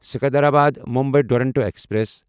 Secunderabad Mumbai Duronto express